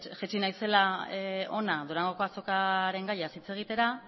jaitsi naizela hona durangoko azokaren gaiaz hitz egitera